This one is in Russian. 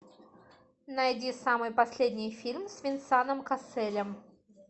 найди самый последний фильм с венсаном касселем